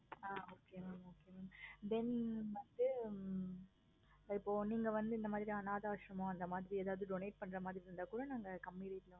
ஆஹ் okay mam okay then வந்து இப்போ நீங்க வந்து இந்த மாதிரி அனாதை ஆஸ்ரமம் உதவாது donate பண்ற மாதிரி இருந்த கூட நாங்க